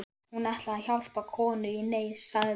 Hún ætlaði að hjálpa konu í neyð, sagði